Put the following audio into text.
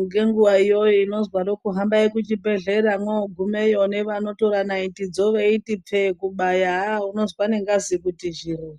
ngenguwa iyoyo inozwaroko kuti hambai kuchibhedhlera mwogumeyo nevanotora naitidzo kupfekera haaa unozwa nengazi kuti zhiriri.